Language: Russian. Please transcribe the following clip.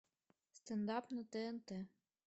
стендап на тнт